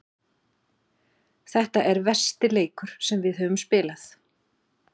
Þetta er versti leikur sem við höfum spilað.